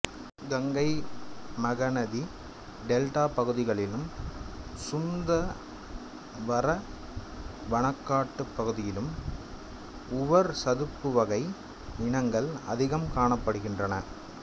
Ganga Mahanadi delta பகுதிகளிலும் சுந்தவரவனக்காட்டுப் பகுதியிலும் உவர் சதுப்புவகை இனங்கள் அதிகம் காணப்ப்டுகின்றன